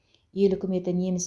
ел үкіметі неміс